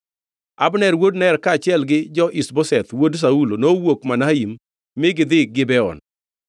Abner wuod Ner, kaachiel gi jo-Ish-Boseth wuod Saulo, nowuok Mahanaim mi gidhi Gibeon.